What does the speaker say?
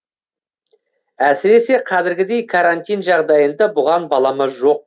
әсіресе қазіргідей карантин жағдайында бұған балама жоқ